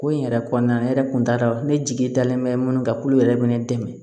Ko in yɛrɛ kɔnɔna na ne yɛrɛ kun t'a dɔn ne jigi dalen bɛ minnu kan k'olu yɛrɛ bɛ ne dɛmɛ